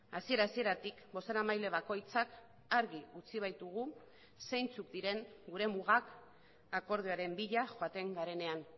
hasiera hasieratik bozeramaile bakoitzak argi utzi baitugu zeintzuk diren gure mugak akordioaren bila joaten garenean